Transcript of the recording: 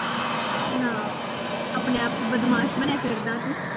ਆਹੋ, ਆਪਣੇ ਆਪ ਚ ਬਦਮਾਸ਼ ਬਣਿਆ ਫਿਰਦਾ ਤੂੰ